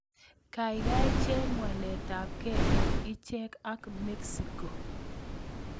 Gaigai cheng' waletapkee eng' echek ak Mexico